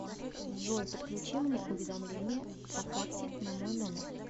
джой подключи мне уведомление по карте на мой номер